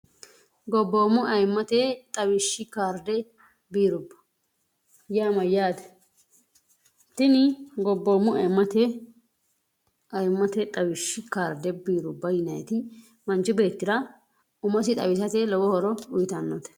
gobboommo ayimmate xawishshi kaarde biirubbo yaamayyaati tini gobboommo mte aimmate xawishshi kaarde biirubba yiniti manchi beettira umosi xawisate lowo horo duyitannote